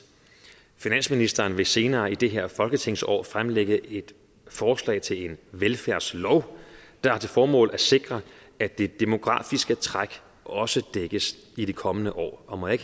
finansministeren vil senere i det her folketingsår fremsætte et forslag til en velfærdslov der har til formål at sikre at det demografiske træk også dækkes i de kommende år og må jeg